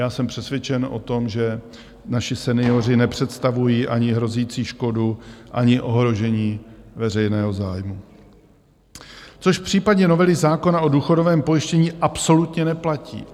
Já jsem přesvědčen o tom, že naši senioři nepředstavují ani hrozící škodu, ani ohrožení veřejného zájmu, což v případě novely zákona o důchodovém pojištění absolutně neplatí.